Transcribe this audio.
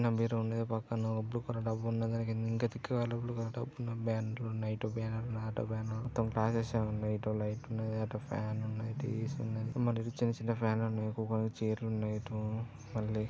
అన్న మీరు ఉండేది పక్కన ఓ బ్లూ కలర్ డబ్బా ఉన్నద . దాని కింద ఇంకా తిక్కుగా బ్లూ కలర్ డబ్బున్నాయి బ్యాన్లున్నాయి నైటోబయన్లు ఆటోబయన్లు మొత్తం ప్యాక్ చేసి ఉన్నాయి ఇటొ లైట్ ఉన్నది ఆటొ ఫ్యాన్ ఉన్నాయి టీ_వీ స్ ఉన్నాయి. మళ్ళీ ఇటు చిన్న చిన్న ఫ్యాన్ లు ఉన్నాయి కోకోనికి చేర్ లు ఉన్నాయి.